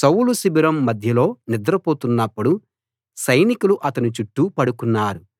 సౌలు శిబిరం మధ్యలో నిద్ర పోతున్నప్పుడు సైనికులు అతని చుట్టూ పడుకున్నారు